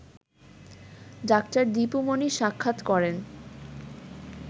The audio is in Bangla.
ডা. দিপু মনি সাক্ষাৎ করেন